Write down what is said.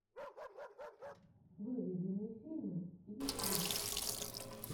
выведи мне фильмы ютьюб